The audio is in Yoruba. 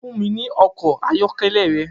Fun mi ni ọkọ ayọkẹlẹ rẹ!